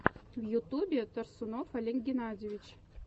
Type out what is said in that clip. в ютубе торсунов олег геннадьевич